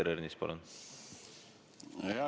Peeter Ernits, palun!